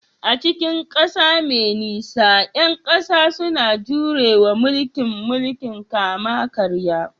A cikin ƙasa mai nisa, ƴan ƙasa suna jure wa mulkin mulkin kama-karya